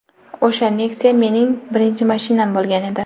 O‘sha Nexia mening birinchi mashinam bo‘lgan edi.